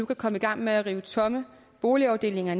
kan komme i gang med at rive tomme boligafdelinger